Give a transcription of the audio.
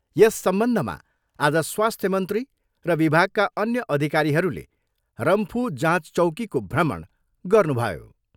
यस सम्बन्धमा आज स्वास्थ्य मन्त्री र विभागका अन्य अधिकारीहरूले रम्फू जाँच चौकीको भ्रमण गर्नुभयो।